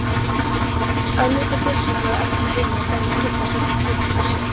Ögmundur biskup hafði ekki heimilað þeim að giftast vegna skyldleikans.